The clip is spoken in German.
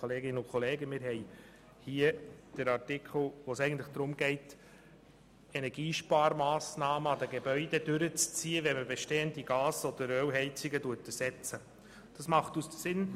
Bei diesem Artikel geht es darum, Energiesparmassnahmen bei Gebäuden zu realisieren, wenn bestehende Gas- oder Ölheizungen ersetzt werden.